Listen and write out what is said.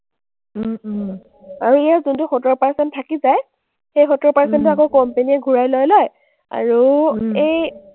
আৰু ইয়াৰ যোনটো সত্তৰ percent থাকি যায়, সেই সত্তৰ percent টো আকৌ company এ ঘূৰাই লৈ লয় আৰু এই